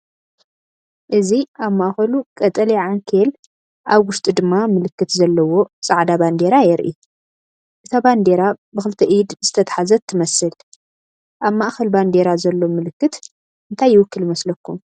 እዚ ኣብ ማእኸሉ ቀጠልያ ዓንኬል ኣብ ውሽጡ ድማ ምልክት ዘለዎ ጻዕዳ ባንዴራ የርኢ። እታ ባንዴራ ብኽልተ ኢድ ዝተታሕዘት ትመስል። ኣብ ማእከል ባንዴራ ዘሎ ምልክት እንታይ ይውክል ይመስለኩም?